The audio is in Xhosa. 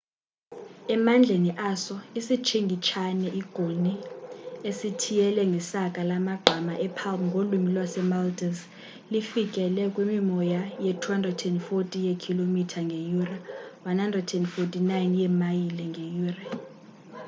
emandleni aso isitshingitshane i-goni esithiyele ngesaka lamagqama e-palm ngolwimi lase-maldives lifikele kwimimoya ye-240 ye-km ngeyure 149 yeemayile ngeyure